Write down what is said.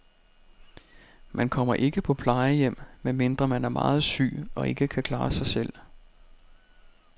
Man kommer ikke på plejehjem, medmindre man er meget syg og ikke kan klare sig selv.